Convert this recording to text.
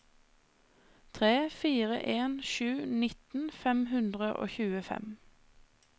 tre fire en sju nitten fem hundre og tjuefem